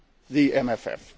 has proposed